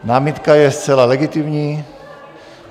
Námitka je zcela legitimní.